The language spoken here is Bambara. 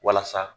Walasa